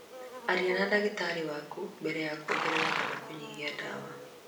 Arĩria ndagĩtarĩ waku mbere ya kwongerera kana kũnyihia ndawa.